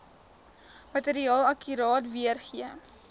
materiaal akkuraat weergee